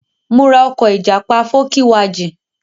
Mo ra ọkọ̀ ìjàpá fókíwajìn.